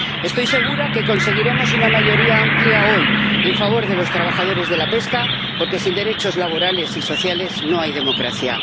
Estoy segura de que conseguiremos una mayoría amplia hoy en favor de los trabajadores de la pesca, porque sin derechos laborales y sociales no hay democracia.